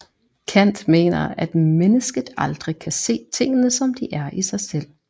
Kant mener at mennesket aldrig kan se tingene som de er i sig selv